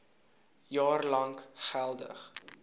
jaar lank geldig